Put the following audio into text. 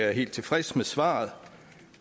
er helt tilfreds med svaret